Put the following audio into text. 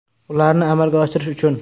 Ularni amalga oshirish uchun.